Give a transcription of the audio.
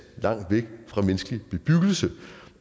langt væk fra menneskelig bebyggelse